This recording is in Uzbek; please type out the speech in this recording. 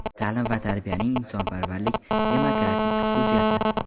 ta’lim va tarbiyaning insonparvarlik, demokratik xususiyati;.